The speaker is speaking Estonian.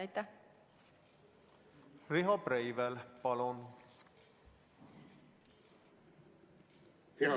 Riho Breivel, palun!